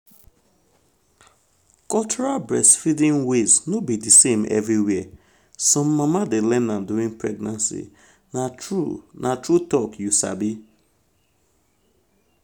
cultural breastfeeding ways no be the same everywhere. um some mama dey learn am during pregnancy na true na true talk you sabi.